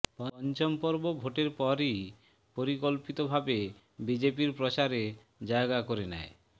পঞ্চম পর্ব ভোটের পরেই পরিকল্পিত ভাবে বিজেপির প্রচারে জায়গা করে নেয়